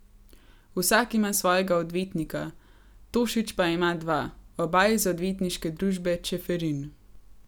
Vsak ima svojega odvetnika, Tošić pa ima dva, oba iz Odvetniške družbe Čeferin.